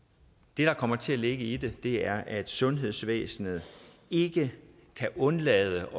det der kommer til at ligge i det er at sundhedsvæsenet ikke kan undlade